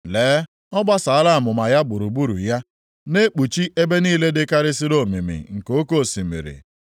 Lee, ọ gbasaala amụma ya gburugburu ya na-ekpuchi ebe niile dịkarịsịrị omimi nke oke osimiri.